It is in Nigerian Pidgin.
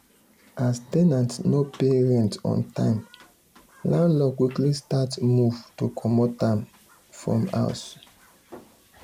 as ten ant no pay rent on time landlord quickly start move to comot am from house.